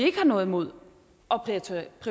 ikke noget imod